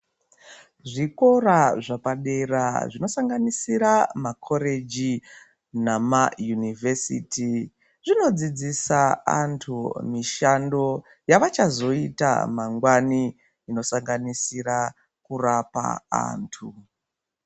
Zvikora zvepadera zvinosanganisira makoreji nayunivhesiti zvinodzudzisa vantu zvavachazoita mangwani zvinosanganisira kurapa vantu.